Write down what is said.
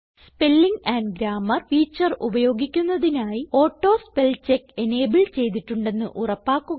spelling and grammar feature ഉപയോഗിക്കുന്നതിനായി auto spell check enable ചെയ്തിട്ടുണ്ടെന്ന് ഉറപ്പാക്കുക